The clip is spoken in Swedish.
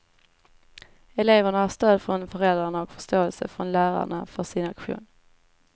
Eleverna har stöd från föräldrarna och förståelse från lärarna för sin aktion.